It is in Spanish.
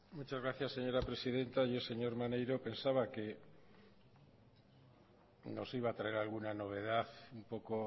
muchas gracias señora presidenta yo señor maneiro pensaba que nos iba a traer alguna novedad un poco